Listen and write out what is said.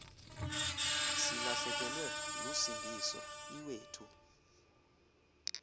silahlekelwe lusindiso iwethu